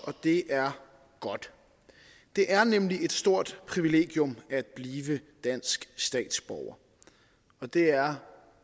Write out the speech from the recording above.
og det er godt det er nemlig et stort privilegium at blive dansk statsborger og det er